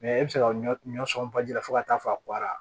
e bɛ se ka ɲɔ sɔn baji la fo ka taa fɔ arawa